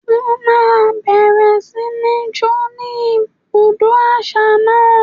Wọ́n máa bẹ̀rẹ̀ sí ní ń jó ní ibùdó àṣà náà?